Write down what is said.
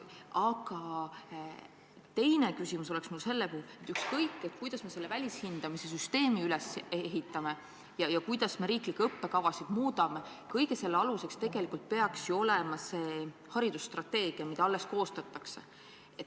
Aga teine küsimus on mul selle kohta, et ükskõik, kuidas me välishindamise süsteemi üles ehitame ja kuidas me riiklikke õppekavasid muudame, kõige selle aluseks peaks ju olema haridusstrateegia, mida alles koostatakse.